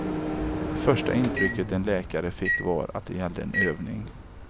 Det första intrycket en läkare fick var att det gällde en övning.